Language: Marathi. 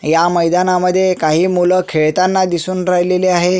ह्या मैदाना मध्ये काही मुल खेळताना दिसून राहिलेले आहे.